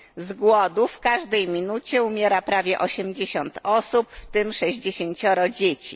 Z głodu w każdej minucie umiera prawie osiemdziesiąt osób, w tym sześćdziesięcioro dzieci.